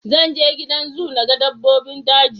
Zan je gidan zoo na ga dabbobin daji